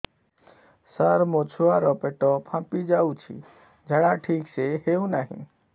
ସାର ମୋ ଛୁଆ ର ପେଟ ଫାମ୍ପି ଯାଉଛି ଝାଡା ଠିକ ସେ ହେଉନାହିଁ